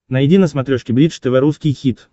найди на смотрешке бридж тв русский хит